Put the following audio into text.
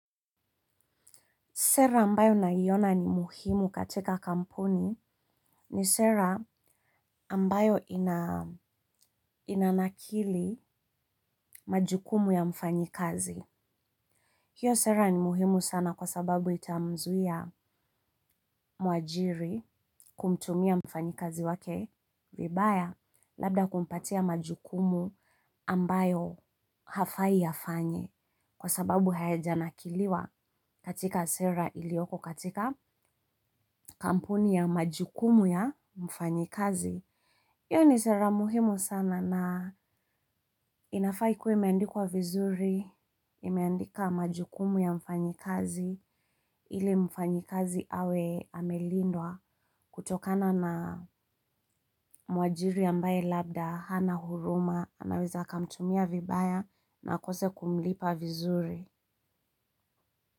Sera ambayo naiona ni muhimu katika kampuni ni sera ambayo inanakili majukumu ya mfanyikazi. Hiyo sera ni muhimu sana kwa sababu itamzuia mwajiri kumtumia mfanyikazi wake vibaya labda kumpatia majukumu ambayo hafai afanye kwa sababu hayajanakiliwa katika sera ilioko katika kampuni ya majukumu ya mfanyikazi. Iyo ni sera muhimu sana na inafaa ikuwe imeandikwa vizuri, imeandika majukumu ya mfanyikazi, ili mfanyikazi awe amelindwa kutokana na mwajiri ambaye labda, hana huruma, anaweza akamtumia vibaya na akose kumlipa vizuri.